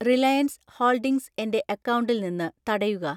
Reliance holdings എൻ്റെ അക്കൗണ്ടിൽ നിന്ന് തടയുക.